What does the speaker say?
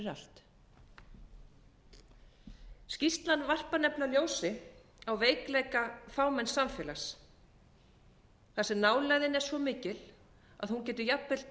allt skýrslan varpar nefnilega ljósi á veikleika fámenns samfélags þar sem nálægðin er svo mikil að hún getur jafnvel